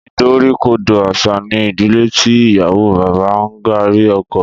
Ìdoríkodò àṣà ni ìdílé tí ìyàwó bá ń gààrí ọkọ.